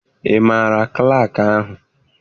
Ị maara klaakị ahụ?